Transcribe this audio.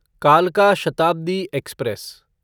कालका शताब्दी एक्सप्रेस